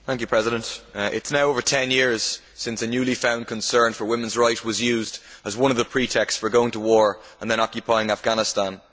Mr President, it is now over ten years since the newly found concern for women's rights was used as one of the pretexts for going to war in, and then occupying, Afghanistan.